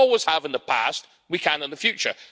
We always have in the past, we can in the future.